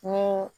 Ni